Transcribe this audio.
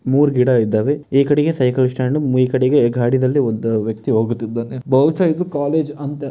ಮೂರ ಗಿಡ ಇದ್ದಾವೆ ಈ ಕಡಿಗೆ ಸೈಕಲ್ ಸ್ಟಾಂಡ್ ಈ ಕಡಿಗೆ ಗಾಡಿನಲ್ಲಿ ಒಂದ್ ವ್ಯಕ್ತಿ ಹೋಗುತಿದ್ದಾನೆ ಬಹುಷ್ಯ ಇದು ಕಾಲೇಜ್ ಅಂತೆ --